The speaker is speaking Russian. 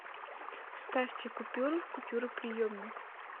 вставьте купюры в купюроприемник